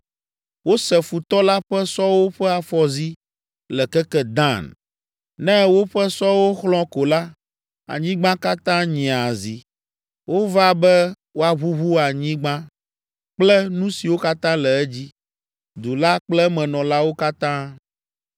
Wose futɔ la ƒe sɔwo ƒe afɔzi le keke Dan. Ne woƒe sɔwo xlɔ̃ ko la, anyigba katã nyea zi. Wova be woaʋuʋu anyigba kple nu siwo katã le edzi, du la kple emenɔlawo katã.”